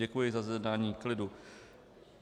Děkuji za zjednání klidu.